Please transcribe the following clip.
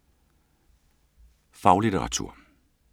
Faglitteratur